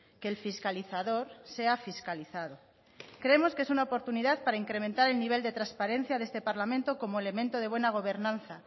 que el fiscalizador sea fiscalizado creemos que es una oportunidad para incrementar el nivel de transparencia de este parlamento como elemento de buena gobernanza